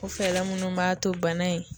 O fɛɛlɛ munnu b'a to bana in